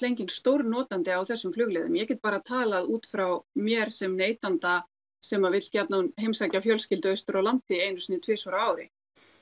enginn stórnotandi á þessum flugleiðum ég get bara talað út frá mér sem neytanda sem vill gjarnan heimsækja fjölskyldu austur á landi einu sinni tvisvar á ári